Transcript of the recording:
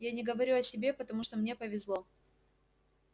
я не говорю о себе потому что мне повезло